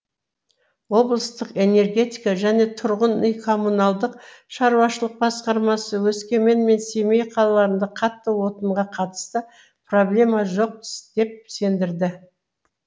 облыстық энергетика және тұрғын үй коммуналдық шаруашылық басқармасы өскемен мен семей қалаларында қатты отынға қатысты проблема жоқ деп сендірді